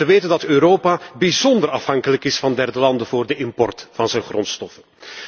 En dan te bedenken dat Europa bijzonder afhankelijk is van derde landen voor de import van zijn grondstoffen.